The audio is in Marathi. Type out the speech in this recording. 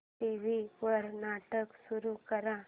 टीव्ही वर नाटक सुरू कर